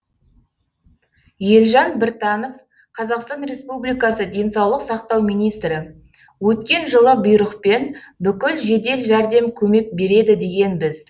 елжан біртанов қазақстан республикасы денсаулық сақтау министрі өткен жылы бұйрықпен бүкіл жедел жәрдем көмек береді дегенбіз